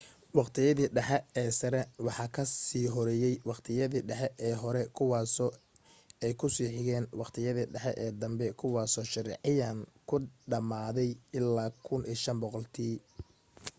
waqtiyadii dhexe ee sare waxa ka sii horreeyay waqtiyadii dhexe ee hore kuwaasoo ay ku sii xigeen waqtiyadii dhexe ee danbe kuwaasoo sharciyan ku dhammaaday ilaa 1500 tii